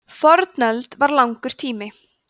fornöld var langur tími